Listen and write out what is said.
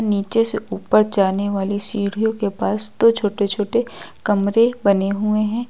नीचे से ऊपर जाने वाली सीढ़ीयों के पास दो छोटे छोटे कमरे बने हुए हैं।